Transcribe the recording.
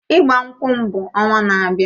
Ịgbankwu m bụ ọnwa na-abịa.